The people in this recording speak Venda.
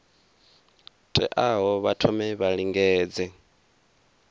teaho vha thome vha lingedze